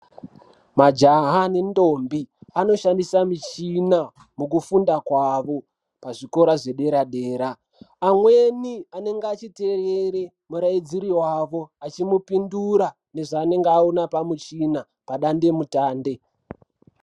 Majaha nendombi anoshandisa michina mukufunda kwavo kuzvikora zvedera-dera. Amweni anenge achiterere murairidziri vavo achimupindira nezvaanenge aona pamuchina padande-mutande.